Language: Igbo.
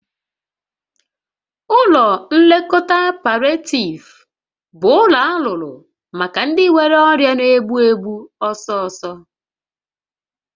Ụlọ nlekọta palịetiiv bụ ụlọ alụrụ maka ndị nwere ọrịa na-egbu egbu ọsọsọ